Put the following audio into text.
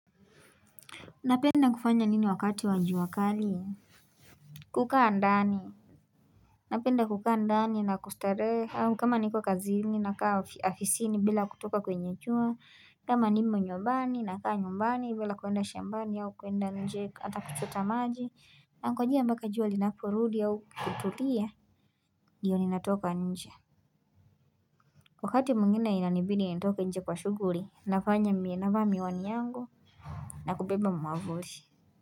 Napenda kufanya nini wakati wa jua kali kukaa ndani Napenda kukaa ndani na kustarehe au kama niko kazini na kaa afisini bila kutoka kwenye jua kama nimo nyumbani na kaa nyumbani bila kuenda shambani au kuenda nje atakuchota maji Nangojea mpaka jua linaporudi au kutulia Ndiyo ninatoka nje Wakati mwingine inanibidi nitoke nje kwa shughuli navaa miwani yangu na kubeba mwavuli.